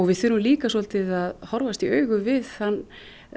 við þurfum líka svolítið að horfast í augu við þann